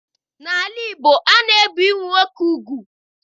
N'ala Igbo, a na-ebi ụmụ nwoke ugwu.